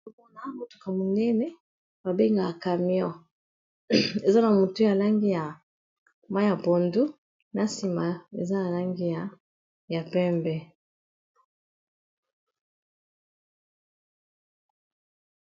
Awa tozakomona motuka monene babengakamion eza na motu ya langi ya maya pondu na nsima eza na langi ya pembe